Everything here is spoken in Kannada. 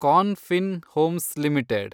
corn Fin Homes limited